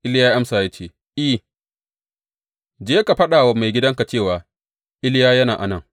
Iliya ya amsa, ya ce, I, je ka faɗa wa maigidanka cewa, Iliya yana a nan.’